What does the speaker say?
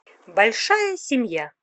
большая семья